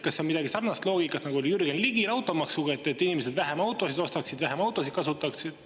Kas see on mingi sarnane loogika, nagu oli Jürgen Ligil automaksu puhul, et inimesed vähem autosid ostaks ja vähem autosid kasutataks?